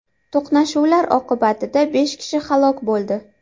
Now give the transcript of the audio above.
To‘qnashuvlar oqibatida besh kishi halok bo‘ldi.